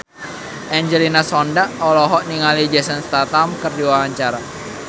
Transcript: Angelina Sondakh olohok ningali Jason Statham keur diwawancara